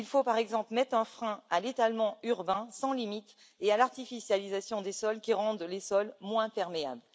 Il faut, par exemple, mettre un frein à l'étalement urbain sans limite et à l'artificialisation des sols qui les rendent moins perméables.